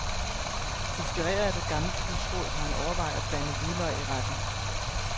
Inspireret af et gammelt husråd, har han overvejet at blande hvidløg i retten.